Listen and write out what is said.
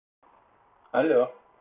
алло